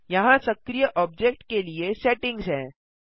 यहाँ सक्रीय ऑब्जेक्ट के लिए सेटिंग्स हैं